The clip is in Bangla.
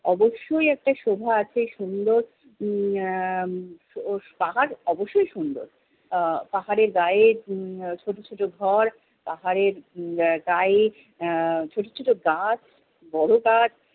অবশ্যই একটা শোভা আছে সুন্দর । উম আহ পাহাড় অবশ্যই সুন্দর। আহ পাহাড়ের গায়ে উম আহ ছোট ছোট ঘর, পাহাড়ের গায়ে আহ ছোট ছোট গাছ, বড় গাছ